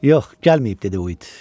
Yox, gəlməyib dedi Uid.